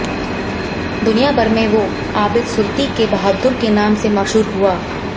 दुनिया भर में वो आबिद सुरती के बहादुर के नाम से मशहूर हुआ